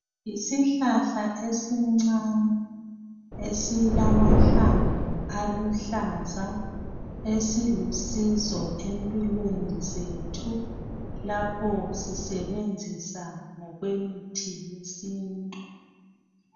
Yisihlahla esincane esilamahlamvu aluhlaza esilusizo empilweni zethu lapho sisebenzisa ngokwemithi yesintu